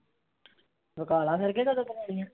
ਪਕਾ ਲੈ ਫੇਰ ਕਦੋਂ ਪਕਾਉਣੀਆਂ?